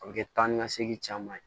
A bɛ kɛ taa ni ka segin caman ye